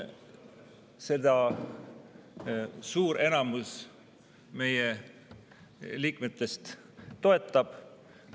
Seda enamus meie liikmetest toetab.